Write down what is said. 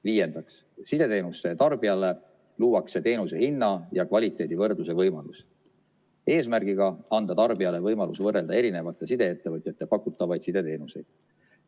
Viiendaks, sideteenuste tarbijale luuakse teenuse hinna ja kvaliteedi võrdluse võimalus eesmärgiga anda tarbijale võimalus võrrelda eri sideettevõtjate pakutavaid sideteenuseid.